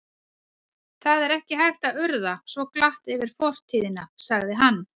Það er ekki hægt að urða svo glatt yfir fortíðina sagði hann.